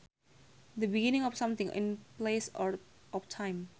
The beginning of something in place or time